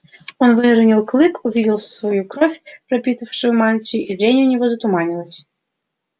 он выронил клык увидел свою кровь пропитавшую мантию и зрение у него затуманилось